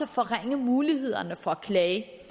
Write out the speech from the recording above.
forringe mulighederne for at klage